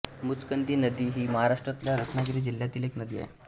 मुचकंदी नदी ही महाराष्ट्रातल्या रत्नागिरी जिल्ह्यातील एक नदी आहे